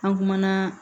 An kumana